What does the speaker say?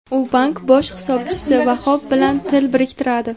U bank bosh hisobchisi Vahob bilan til biriktiradi.